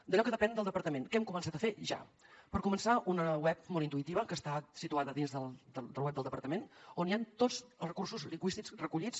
d’allò que depèn del departament què hem començat a fer ja per començar una web molt intuïtiva que està situada dins del web del departament on hi ha tots els recursos lingüístics recollits